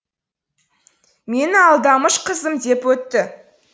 мені алдамыш қызым деп өтті